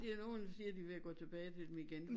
De er nogen der siger de er ved at gå tilbage til dem igen